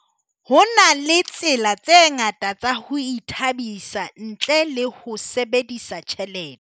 Ho na le tsela tse ngata tsa ho ithabisa ntle le ho sebedisa tjhelete.